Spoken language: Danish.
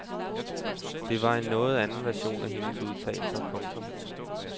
Det var en noget anden version af hendes udtalelser. punktum